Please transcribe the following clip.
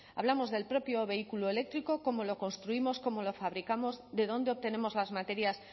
hablamos del propio vehículo eléctrico cómo lo construimos cómo lo fabricamos de dónde obtenemos las materias